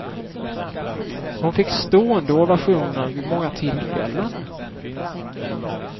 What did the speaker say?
Hon fick stående ovationer vid många tillfällen.